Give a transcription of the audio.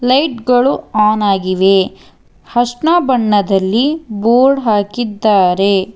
Light ಗಳು on ಆಗಿವೆ ಹಶ್ನ ಬಣ್ಣದಲ್ಲಿ ಬೋರ್ಡ್ ಹಾಕಿದ್ದಾರೆ.